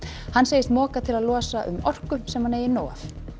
hann segist moka til að losa um orku sem hann eigi nóg af